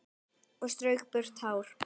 Og strauk burtu tár.